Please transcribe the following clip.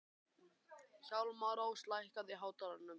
Hjálmrós, lækkaðu í hátalaranum.